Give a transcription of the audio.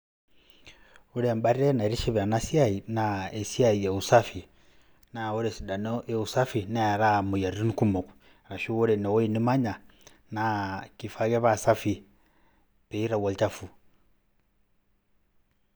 Ore embate naitiship ena siai naa esiai e usafi naa ore esidano e usafi neeraa moyiaritin kumok. Ashu ore ine wuei nimanya naa kifaa ake pee safi piitau olchafu.